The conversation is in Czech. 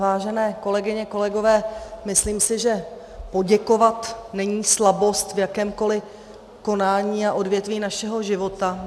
Vážené kolegyně, kolegové, myslím si, že poděkovat není slabost v jakémkoliv konání a odvětví našeho života.